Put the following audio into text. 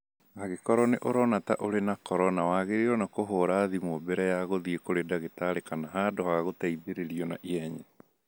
Angĩkorwo nĩ ũrona ta ũrĩ na corona, wagĩrĩirwo nĩ kũhũra thimũ mbere ya gũthiĩ kũrĩ ndagĩtarĩ kana handũ ha gũteithĩrĩrio na ihenya.